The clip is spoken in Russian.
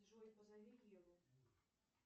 джой позови еву